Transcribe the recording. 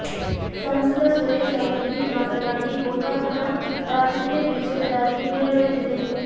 ಸಂಸದ ಸುರೇಶ ಅಂಗಡಿ ಮಾತನಾಡಿ ಗೋಕಾಕನ ರಾಜಕೀಯ ದ್ವೇಷದ ರಾಜಕೀಯ ನಡೆಯುತ್ತಿದೆ